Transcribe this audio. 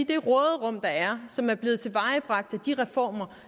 det råderum der er som er blevet tilvejebragt af de reformer